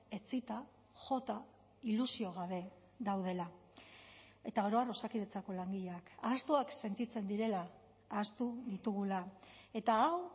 etsita jota ilusio gabe daudela eta oro har osakidetzako langileak ahaztuak sentitzen direla ahaztu ditugula eta hau